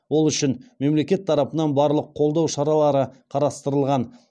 ол үшін мемлекет тарапынан барлық қолдау шаралары қарастырылған